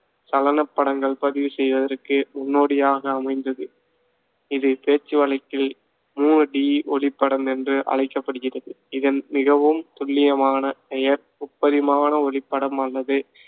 சலனப் படங்கள் பதிவு செய்வதற்கு முன்னோடியாக அமைந்தது. இது பேச்சுவழக்கில் மூணு D ஒளிப்படம் என்று அழைக்கப்படுகிறது. இதன் மிகவும் துல்லியமான பெயர் முப்பரிமாண ஒளிப்படம் அல்லது